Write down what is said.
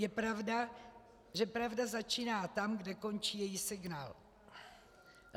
Je pravda, že pravda začíná tam, kde končí její signál.